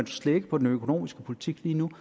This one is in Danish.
slækkes på den økonomiske politik lige nu